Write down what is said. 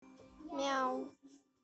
мяу